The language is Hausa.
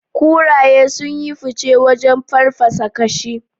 Kuraye sun yi fice wajen farfasa kashi.